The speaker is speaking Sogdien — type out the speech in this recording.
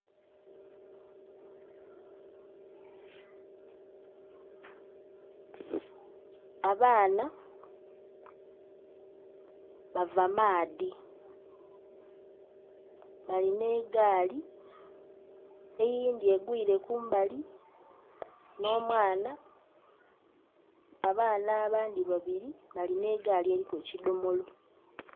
Abaana bava maadhi, balina egaali. Eyindhi egwile kumbali nh'omwana, abaana abandhi babili balina egaali eliku ekidhomolo .